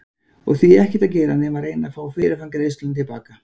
Og því ekkert að gera nema að reyna að fá fyrirframgreiðsluna til baka.